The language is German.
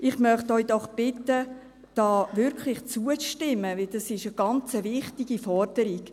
Ich möchte Sie doch bitten, hier wirklich zuzustimmen, denn dies ist eine ganz wichtige Forderung.